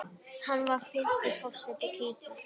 Hann var fimmti forseti Kýpur.